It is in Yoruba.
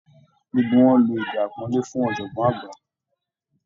Gbogbo wọn lo èdè àpọ́nlé fún ọ̀jọ̀gbọ́n àgbà